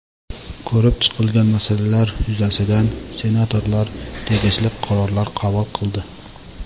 Ko‘rib chiqilgan masalalar yuzasidan senatorlar tegishli qarorlar qabul qildi.